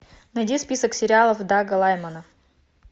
найди список сериалов дага лаймона